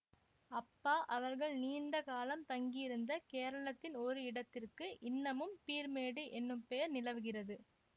அப்பா அவர்கள் நீண்ட காலம் தங்கியிருந்த கேரளத்தின் ஒரு இடத்திற்கு இன்னமும் பீர்மேடு எனும் பெயர் நிலவுகிறது